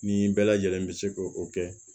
Nin bɛɛ lajɛlen bi se k'o kɛ